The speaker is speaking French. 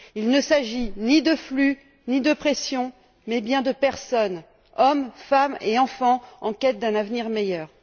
Il ne s'agit ni de flux, ni de pression, mais bien de personnes hommes, femmes et enfants en quête d'un avenir meilleur.